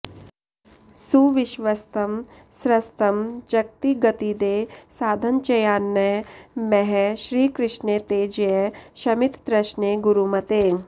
सुविश्वस्तं स्रस्तं जगति गतिदे साधनचयान्न मः श्रीकृष्णे ते जय शमिततृष्णे गुरुमते